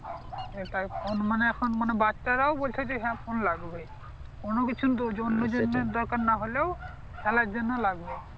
হ্যাঁ তাই ফোন মানে এখন মানে বাচ্চারা ও বলছে যে হ্যাঁ ফোন লাগবে কোন কিছু সেরকম আরকি দরকার নাহ হলেও খেলার জন্য লাগবে